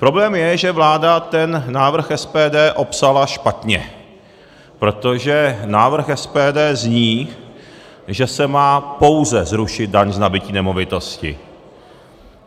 Problém je, že vláda ten návrh SPD opsala špatně, protože návrh SPD zní, že se má pouze zrušit daň z nabytí nemovitosti.